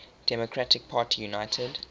democratic party united